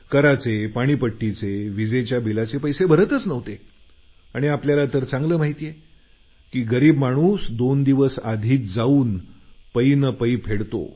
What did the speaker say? कराचे पाणीपट्टीचे विजेचे बिलाचे पैसे भरतच नव्हते आणि आपल्याला तर चांगलं माहिती आहे की गरीब माणसं दोन दिवस आधीच जाऊन पै न पैसे फेडतात